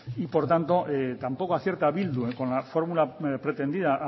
y por tanto tampoco acierta bildu con la fórmula pretendida